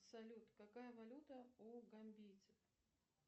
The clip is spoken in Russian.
салют какая валюта у гамбийцев